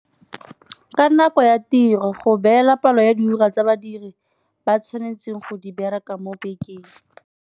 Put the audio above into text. Ka nako ya tiro, go beela palo ya di ura tsa badiri ba tshwanetseng go di bereka mo bekeng.